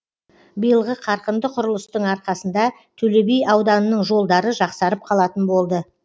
биылғы қарқынды құрылыстың арқасында төле би ауданының жолдары жақсарып қалатын болды